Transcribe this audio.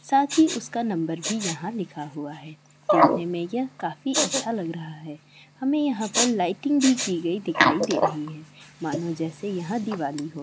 साथी उसका नंबर भी यहां लिखा हुआ है देखने में यह काफी अच्छा लग रहा है। हमें यहां पर लाइटिंग भी की गई दिखाई दे रही है। मानो जैसे यहां दिवाली हो।